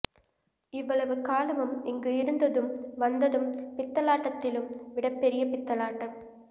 இவ்வளவு காலமும் இங்கு இருந்ததும் வந்ததும் பித்தலாட்ட்திலும் விட பெரிய பித்தலாட்டம்